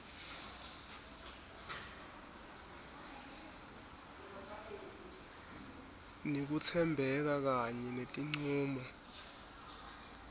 nekutsembeka kanye netincumo